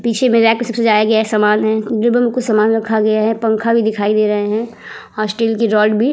पीछे सब सामान है। डिब्बे में कुछ सामान रखा गया है। पंखा भी दिखाई दे रहे हैं और स्टील की रॉड भी--